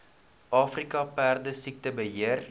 afrika perdesiekte beheer